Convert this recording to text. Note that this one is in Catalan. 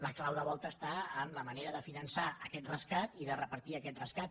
la clau de volta està en la manera de finançar aquest rescat i de repartir aquest rescat